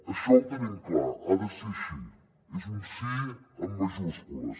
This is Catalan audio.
això ho tenim clar ha de ser així és un sí amb majúscules